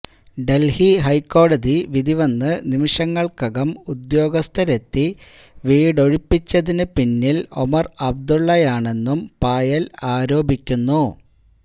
ദല്ഹി ഹൈക്കോടതി വിധി വന്ന് നിമിഷങ്ങള്ക്കകം ഉദ്യോഗസ്ഥരെത്തി വീടൊഴിപ്പിച്ചതിന് പിന്നില് ഒമര് അബ്ദുളളയാണെന്നും പായല് ആരോപിക്കുന്നു